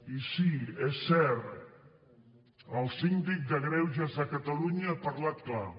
i sí és cert el síndic de greuges de catalunya ha parlat clar